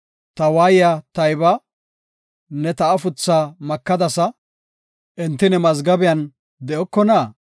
Ta waayiya tayba; ne ta afuthaa makadasa; enti ne mazgabiyan de7okona?